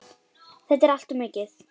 Þetta er allt of mikið!